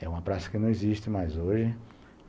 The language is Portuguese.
É uma praça que não existe mais hoje.